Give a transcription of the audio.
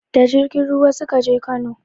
Da jirgin ruwa suka je Kano